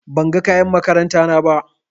Ban ga kayan makaranta na ba.